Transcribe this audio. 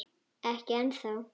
Ekki ennþá.